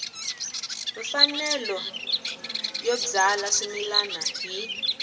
mfanelo yo byala swimila hi